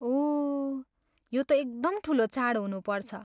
ओह, यो त एकदम ठुलो चाड हुनुपर्छ।